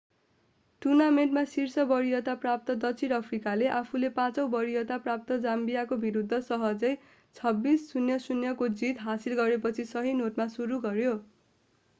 टूर्नामेन्टमा शीर्ष वरियता प्राप्त दक्षिण अफ्रिकाले आफूले 5 औँ वरियता प्राप्त जाम्बियाका विरुद्ध सहजै 26-00 को जीत हासिल गरेपछि सही नोटमा सुरु गर्यो